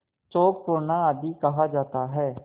चौक पूरना आदि कहा जाता है